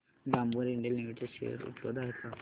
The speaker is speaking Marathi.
डाबर इंडिया लिमिटेड शेअर उपलब्ध आहेत का